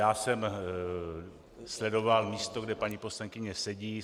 Já jsem sledoval místo, kde paní poslankyně sedí.